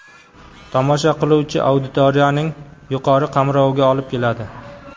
tomosha qiluvchi auditoriyaning yuqori qamroviga olib keladi.